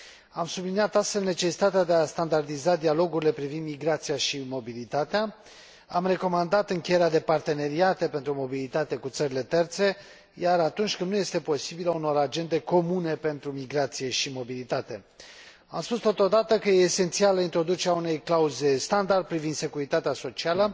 Am subliniat, astfel, necesitatea de a standardiza dialogurile privind migrația și mobilitatea, am recomandat încheierea de parteneriate pentru mobilitate cu țările terțe, iar, atunci când nu este posibil, a unor agende comune pentru migrație și mobilitate. Am spus totodată că este esențială introducerea unei clauze standard privind securitatea socială.